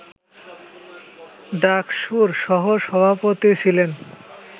ডাকসুর সহ সভাপতি ছিলেন